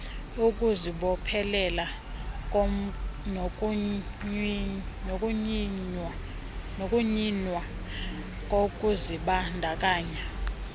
ukuzibophelela nokunyinwa kokuzibandakanya